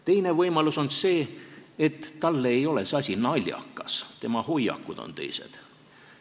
Teine võimalus on see, et talle ei ole see asi naljakas, tema hoiakud on teised.